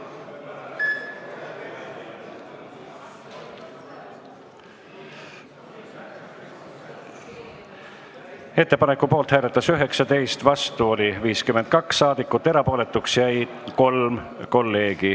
Hääletustulemused Ettepaneku poolt hääletas 19 ja vastu oli 52 saadikut, erapooletuks jäi 3 kolleegi.